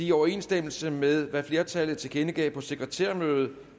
i overensstemmelse med hvad flertallet tilkendegav på sekretærmødet